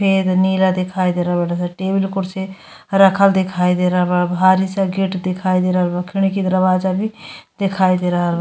फ़ेद नीला दिखाई दे रहल बाड़ स। टेबिल कुर्सी रखल दिखाई दे रहल बा। भारी सा गेट दिखाई दे रहल बा खिडकी दरवजा भी दिखाई दे रहल --